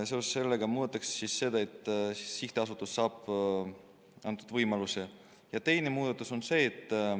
Seoses sellega muudetakse nii, et sihtasutus saab selle võimaluse.